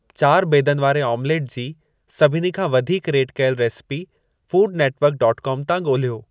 चारि बेदनि वारे ऑम्लेट जी सभिनी खां वधीक रेट कयल रेसेपी फूडनेटिवर्कडॉटकॉम तां ॻोल्हियो